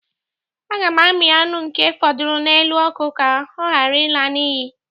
A ga m amii aṅụ nke fọdụrụ n'elu ọkụ ka ọ ghara ịla n'iyi